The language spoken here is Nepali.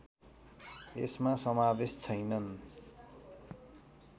यसमा समावेश छैनन्